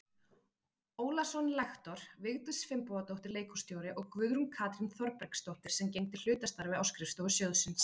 Ólason lektor, Vigdís Finnbogadóttir leikhússtjóri og Guðrún Katrín Þorbergsdóttir sem gegndi hlutastarfi á skrifstofu sjóðsins.